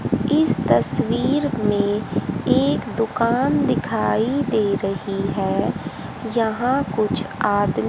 इस तस्वीर में एक दुकान दिखाई दे रही है यहां कुछ आदमी--